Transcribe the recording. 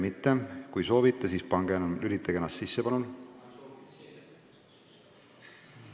Kui keegi soovib sõna võtta, siis vajutage nuppu, palun!